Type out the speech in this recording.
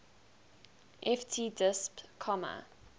ft disp comma